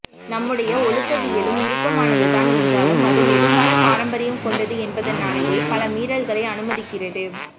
நம்முடைய ஒழுக்கவியலும் இறுக்கமானதுதான் என்றாலும் அது நெடுங்கால பாரம்பரியம் கொண்டது என்பதனாலேயே பல மீறல்களை அனுமதிக்கிறது